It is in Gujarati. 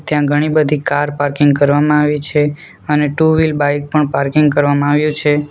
ત્યાં ઘણી બધી કાર પાર્કિંગ કરવામાં આવી છે અને ટુ વીલ બાઈક પણ પાર્કિંગ કરવામાં આવ્યું છે.